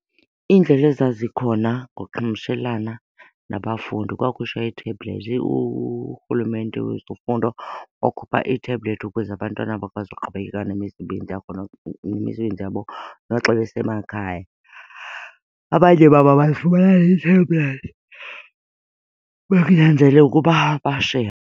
Iindlela ezazikhona ngoqhamshelana nabafundi kwakhutshwa ii-tablets. uRhulumente wezofundo wakhupha ii-tablet ukuze abantwana bakwazi ukuqhubekeka nemisebenzi yabo noxa besemakhaya. Abanye babo abayifumananga i-tablet bekunyanzeleka ukuba bashere.